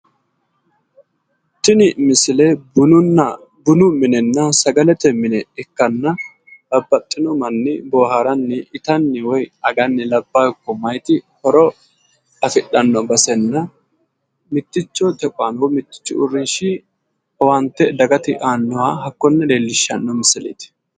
Tini base bunu minenna sagalete mine ikkanna tene basera babbaxino dani manni, mayiti mayete ledo baxillano baxillanote ledo dage yanna boohartanni horonsidhano baseti